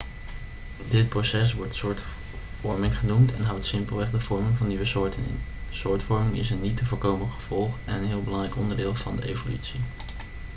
dit proces wordt soortvorming genoemd en houdt simpelweg de vorming van nieuwe soorten in soortvorming is een niet te voorkomen gevolg en een heel belangrijk onderdeel van de evolutie